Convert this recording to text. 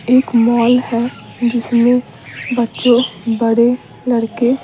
एक मॉल है जिसमें बच्चे बड़े लड़के --